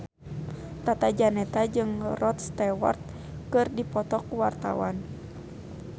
Tata Janeta jeung Rod Stewart keur dipoto ku wartawan